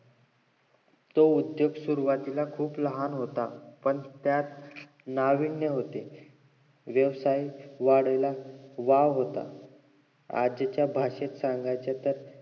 तो उद्दोग सुरवातीला खुप लहान होता पण त्यात नावीन्य होते व्यवसाय वाढीला वाव होता आजच्या भाषेत सांगायचे तर